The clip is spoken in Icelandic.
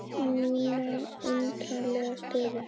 Mína undarlegu stöðu.